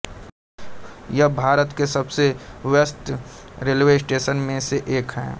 यह भारत के सबसे व्यस्त रेलवे स्टेशन में से एक है